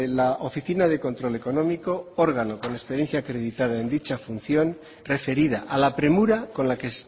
la oficina de control económico órgano con experiencia acreditada en dicha función referida a la premura con la que